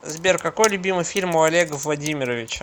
сбер какой любимый фильм у олега владимировича